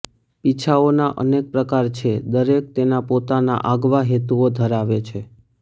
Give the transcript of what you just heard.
પીછાઓના અનેક પ્રકાર છે દરેક તેના પોતાના આગવા હેતુઓ ધરાવે છે